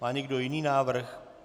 Má někdo jiný návrh?